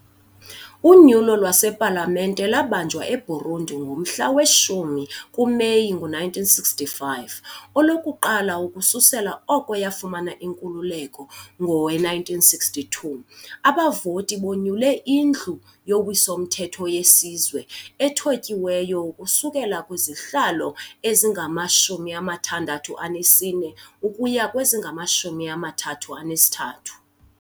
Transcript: Unyulo lwasePalamente lwabanjwa eBurundi ngomhla we-10 kuMeyi 1965, olokuqala ukususela oko yafumana inkululeko ngowe-1962. Abavoti bonyule iNdlu yoWiso-mthetho yeSizwe, ethotyiweyo ukusuka kwizihlalo ezingama-64 ukuya kwezingama-33.